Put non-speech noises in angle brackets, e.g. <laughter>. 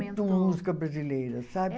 <unintelligible> música brasileira, sabe?